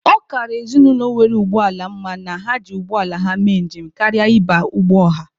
Ọ kara ezinụlọ nwere ụgbọ ala mma na ha ji ụgbọala ha mee njem karịa ịba ụgbọ ọha.